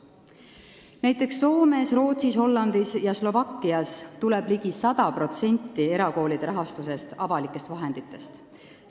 Näiteks tuleb Soomes, Rootsis, Hollandis ja Slovakkias ligi 100% erakoolide rahastusest avalikest vahenditest.